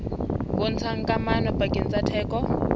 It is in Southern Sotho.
bontshang kamano pakeng tsa theko